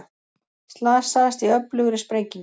Slasaðist í öflugri sprengingu